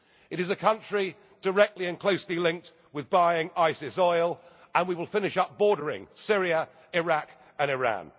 ISIS. It is a country directly and closely linked with buying ISIS oil, and we will finish up bordering Syria, Iraq and